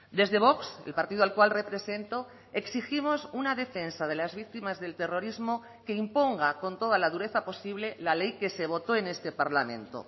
desde vox el partido al cual represento exigimos una defensa de las víctimas del terrorismo que imponga con toda la dureza posible la ley que se votó en este parlamento